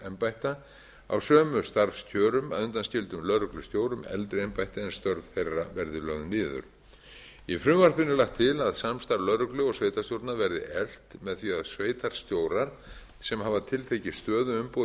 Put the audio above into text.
lögregluembætta á sömu starfskjörum að undanskildum lögreglustjórum eldri embætti en störf þeirra verði lögð niður í frumvarpinu er lagt til að samstarfs lögreglu og sveitarstjórna verði eflt með því að sveitarstjórar sem hafa tiltekið stöðuumboð